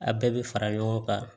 A bɛɛ bɛ fara ɲɔgɔn kan